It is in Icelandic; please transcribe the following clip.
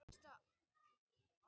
Myndir eru fengnar úr sama riti.